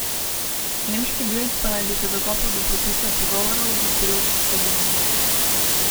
Nemški Bild pa naj bi se dokopal do prepisa pogovorov v pilotski kabini.